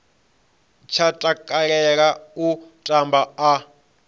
tsha takalela u tamba a